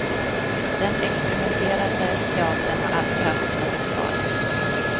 Den experimenterande teatern har alltid haft sina festivaler.